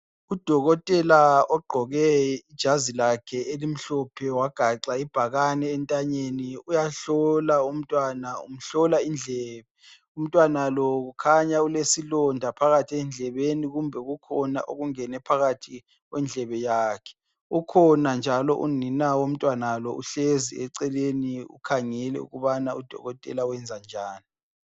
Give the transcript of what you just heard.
Udokotela ogqoke ijazi lakhe elimhlophe, wagaxa ibhakane entanyeni uyahlola umntwana, umhlola indlebe. Umntwana lo kukhanya ulesilonda phakathi endlebeni kumbe kukhona okungene phakathi kwendlebe yakhe. Ukhona njalo unina womntwana lo uhlezi eceleni ukhangele ukubana udokotela wenza njani.